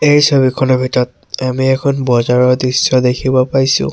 এই ছবিখনৰ ভিতৰত আমি এখন বজাৰৰ দৃশ্য দেখিব পাইছোঁ।